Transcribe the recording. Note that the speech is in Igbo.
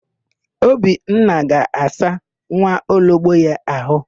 Obinna ga-asa nwaologbo ya àhụ́.